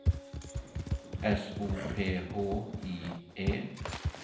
S O P H I E